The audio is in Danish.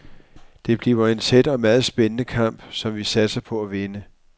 Det bliver en tæt og meget spændende kamp, som vi satser på at vinde.